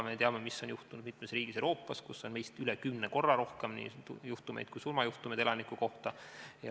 Me teame, mis on juhtunud mitmes riigis Euroopas, kus on meist üle kümne korra rohkem neid juhtumeid, ka surmajuhtumeid elaniku kohta.